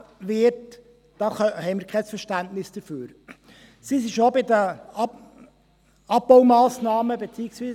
Wir haben kein Verständnis dafür, dass die ERZ von allen Sparmassnahmen ausgenommen wird.